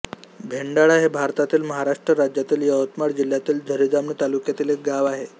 भेंडाळा हे भारतातील महाराष्ट्र राज्यातील यवतमाळ जिल्ह्यातील झरी जामणी तालुक्यातील एक गाव आहे